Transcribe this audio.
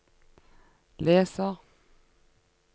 leser